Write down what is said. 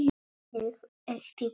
Ég átti pabba.